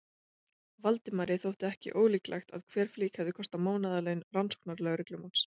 Valdimari þótti ekki ólíklegt að hver flík hefði kostað mánaðarlaun rannsóknarlögreglumanns.